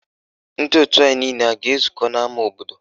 Ndị òtù anyị niile a ga-ezukọ n'ama obodo?